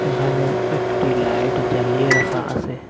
এখানে একটি লাইট জ্বালিয়ে রাখা আসে।